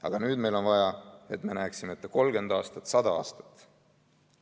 Aga nüüd meil on vaja, et me näeksime ette 30 aastat, 100 aastat.